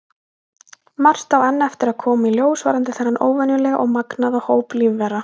Margt á enn eftir að koma í ljós varðandi þennan óvenjulega og magnaða hóp lífvera.